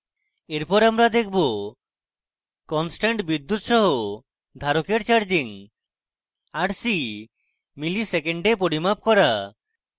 এরপর আমরা দেখাবো